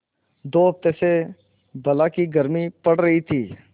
दो हफ्ते से बला की गर्मी पड़ रही थी